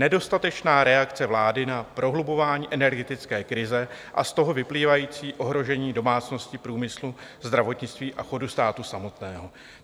Nedostatečná reakce vlády na prohlubování energetické krize a z toho vyplývající ohrožení domácností, průmyslu, zdravotnictví a chodu státu samotného.